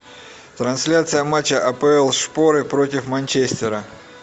трансляция матча апл шпоры против манчестера